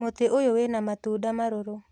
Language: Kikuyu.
Mũtĩ ũyũ wĩna matunda marũrũ